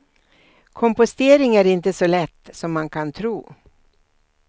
Kompostering är inte så lätt som man kan tro.